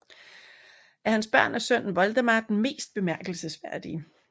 Af hans børn er sønnen Woldemar den mest bemærkelsesværdige